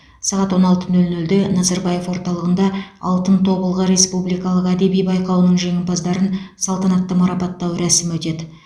сағат он алты нөл нөлде назарбаев орталығында алтын тобылғы республикалық әдеби байқауының жеңімпаздарын салтанатты марапаттау рәсімі өтеді